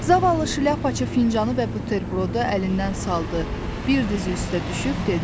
Zavallı şlyapaçı fincanı və buterbrodu əlindən saldı, bir dizi üstə düşüb dedi.